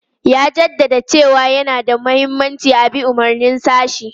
Ya jaddada cewa yana da mahimmanci a bi umarnin sashi.